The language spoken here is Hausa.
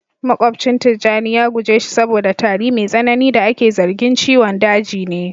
makwabcin tijjani ya guje shi saboda tari mai tsanani da ake zargin ciwon daji ne